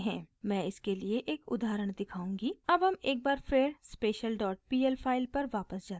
मैं इसके लिए एक उदाहरण दिखाऊँगी अब हम एक बार फिर special dot pl file पर वापस जाते हैं